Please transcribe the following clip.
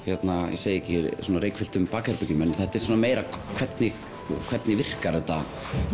ég segi ekki reykfylltum bakherbergjum en þetta er meira hvernig hvernig virkar þetta